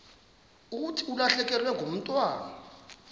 thi ulahlekelwe ngumntwana